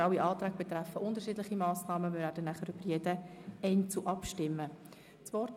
Alle Anträge betreffen unterschiedliche Massnahmen, über die wir anschliessend einzeln abstimmen werden.